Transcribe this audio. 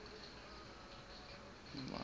iranian ismailis